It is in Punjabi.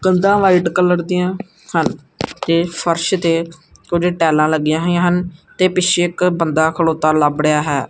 ਕੰਧਾ ਵਾਈਟ ਕਲਰ ਦੀਆਂ ਹਨ ਤੇ ਫਰਸ਼ ਤੇ ਕੁਝ ਟੈਲਾਂ ਲੱਗੀਆਂ ਹੋਈਆਂ ਹਨ ਤੇ ਪਿੱਛੇ ਇੱਕ ਬੰਦਾ ਖਲੋਤਾ ਲੱਭ ਰਿਹਾ ਹੈ।